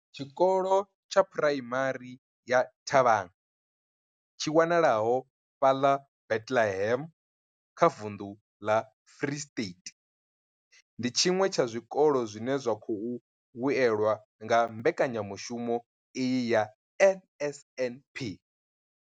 Tshikolo tsha Phuraimari ya Thabang tshi wanalaho fhaḽa Bethlehem kha vunḓu ḽa Free State, ndi tshiṅwe tsha zwikolo zwine zwa khou vhuelwa nga mbekanya mushumo iyi ya NSNP.